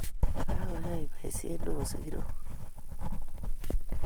Kagoyey boisiet ne o sigiroik